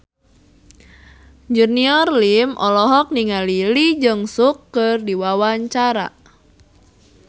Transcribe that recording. Junior Liem olohok ningali Lee Jeong Suk keur diwawancara